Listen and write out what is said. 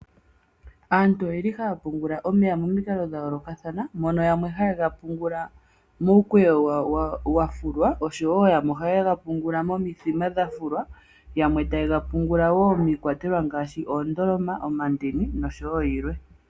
Aantu oyeli haya pungula omeya momikalo dha yoolokathana, mono yamwe haya pungula muukweyo wa fulwa, yo wo yamwe ohaye ga pungula momithima dha fulwa, yamwe taye ga mbungula wo miikwatelwa ngaashi oondoloma, omandini oshowo yilwe.